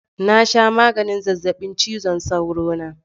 Na sha maganin zazzabin cizon sauro na